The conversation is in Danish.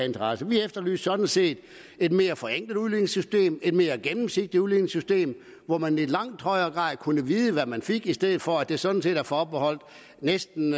interesse vi efterlyste sådan set et mere forenklet udligningssystem et mere gennemsigtigt udligningssystem hvor man i langt højere grad kunne vide hvad man fik i stedet for at det sådan set er forbeholdt næsten